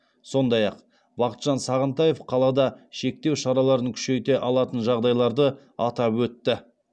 сондай ақ бақытжан сағынтаев қалада шектеу шараларын күшейте алатын жағдайларды атап өтті